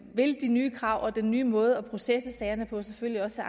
de nye krav og den nye måde at processe sagerne på selvfølgelig også